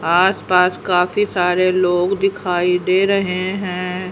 आस पास काफी सारे लोग दिखाई दे रहे हैं।